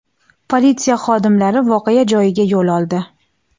Politsiya xodimlari voqea joyiga yo‘l oldi.